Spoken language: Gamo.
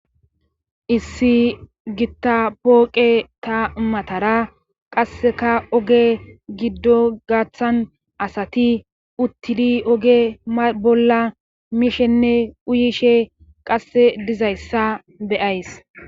issi gitta pooqe ta matara qasseka oge giddo gaththan asati uttidi oge bolla mishenne uyishe qasse dizayssa be'ays